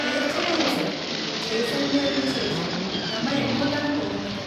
തീർച്ചയായും സർ, ജയ്‌സൽമീറിന് ശേഷം നമ്മൾ എങ്ങോട്ടാണ് പോകുന്നത്?